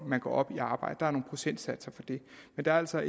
man går op i arbejde der er nogle procentsatser for det der er altså